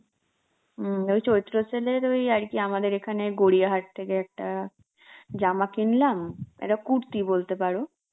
হম ওই চৈত্র sale এর ওই আর কি আমাদের এখানে গরিয়াহাট থেকে একটা জামা কিনলাম, একটা কুর্তি বলতে পারো